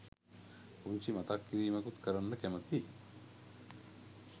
පුංචි මතක් කිරිමකුත් කරන්න කැමතියි